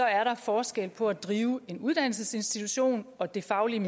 er der forskel på at drive en uddannelsesinstitution og det faglige